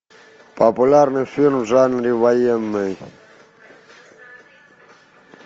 популярный фильм в жанре военный